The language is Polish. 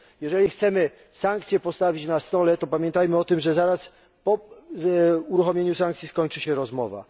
Jeżeli chcemy sankcje postawić na stole, to pamiętajmy o tym, że zaraz po uruchomieniu sankcji skończy się rozmowa.